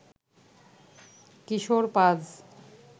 কিশোর পাজ